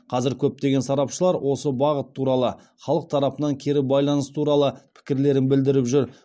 қазір көптеген сарапшылар осы бағыт туралы халық тарапынан кері байланыс туралы пікірлерін білдіріп жүр